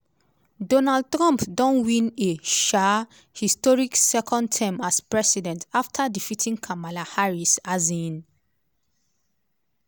donald trump don win a um historic second term as president afta defeating kamala harris. um